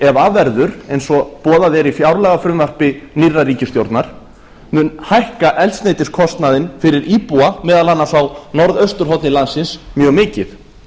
ef af verður eins og boðað er í fjárlagafrumvarpi nýrrar ríkisstjórnar mun hækka eldsneytiskostnaðinn fyrir íbúa meðal annars á íbúa meðal annars á norðausturhorni landsins mjög mikið